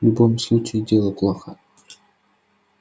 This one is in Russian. в любом случае дело плохо